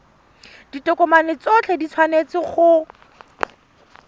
ditokomane tsotlhe di tshwanetse go